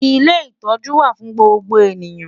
Ilé ìtọ́jú wà fún gbogbo ènìyàn.